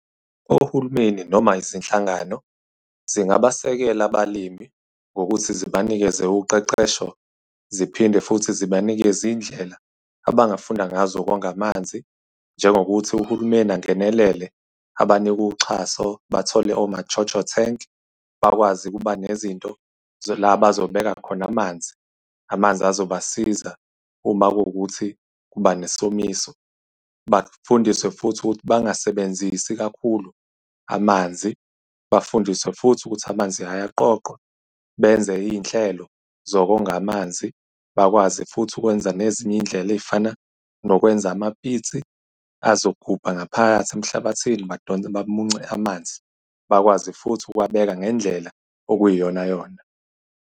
Uhulumeni noma izinhlangano zingabasekela abalimi ngokuthi zibanikeze uqeqesho, ziphinde futhi zibanikeze izindlela abangafunda ngazo ukonga amanzi. Njengokuthi uhulumeni angenelele abanike uxhaso bathole oma-JoJo tank, bakwazi ukuba nezinto la abazobeka khona amanzi, amanzi azoba siza uma kuwukuthi kuba nesomiso. Bafundiswe futhi ukuthi bangasebenzisi kakhulu amanzi. Bafundiswe futhi ukuthi amanzi ayaqoqwa, benze iy'nhlelo zokonga amanzi. Bakwazi futhi ukwenza nezinye iy'ndlela ey'fana nokwenza amapitsi azogubha ngaphakathi emhlabathini badonse, bamunce amanzi bakwazi futhi ukuwabeka ngendlela okuyiyona yona.